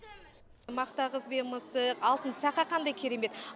мақта қыз бен мысық алтын сақа қандай керемет